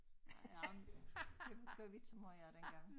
Nej men det gjorde vi ikke så meget af dengang